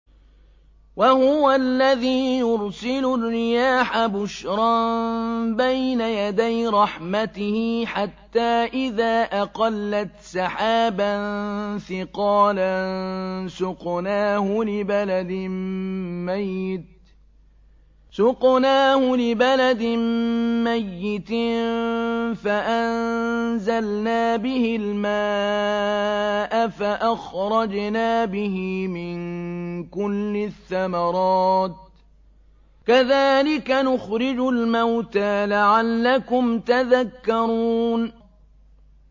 وَهُوَ الَّذِي يُرْسِلُ الرِّيَاحَ بُشْرًا بَيْنَ يَدَيْ رَحْمَتِهِ ۖ حَتَّىٰ إِذَا أَقَلَّتْ سَحَابًا ثِقَالًا سُقْنَاهُ لِبَلَدٍ مَّيِّتٍ فَأَنزَلْنَا بِهِ الْمَاءَ فَأَخْرَجْنَا بِهِ مِن كُلِّ الثَّمَرَاتِ ۚ كَذَٰلِكَ نُخْرِجُ الْمَوْتَىٰ لَعَلَّكُمْ تَذَكَّرُونَ